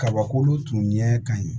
Kabako tun ɲɛ ka ɲi